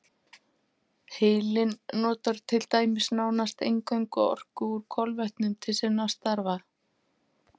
Heilinn notar til dæmis nánast eingöngu orku úr kolvetnum til sinna stafa.